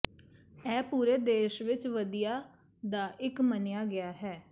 ਇਹ ਪੂਰੇ ਦੇਸ਼ ਵਿਚ ਵਧੀਆ ਦਾ ਇੱਕ ਮੰਨਿਆ ਗਿਆ ਹੈ